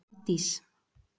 Hafdís